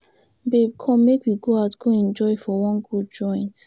Babe come make we go out go enjoy for wan good joint.